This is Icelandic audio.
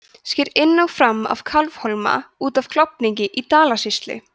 sker inn og fram af kálfhólma út af klofningi í dalasýslu